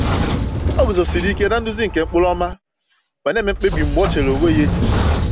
O guzosiri ike na-nduzi nke ụkpụrụ ọma, ma na-eme mkpebi mgbe o chere onwe ya echiche.